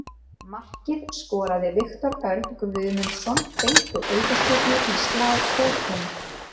Markið skoraði Viktor Örn Guðmundsson beint úr aukaspyrnu, í slá og inn.